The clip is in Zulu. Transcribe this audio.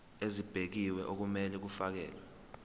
ezibekiwe okumele kufakelwe